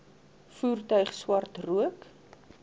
voertuig swart rook